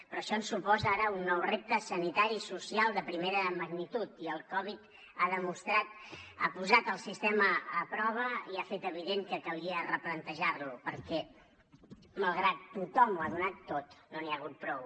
però això ens suposa ara un nou repte sanitari i social de primera magnitud i el covid ha posat el sistema a prova i ha fet evident que calia replantejar lo perquè malgrat que tothom ho ha donat tot no n’hi ha hagut prou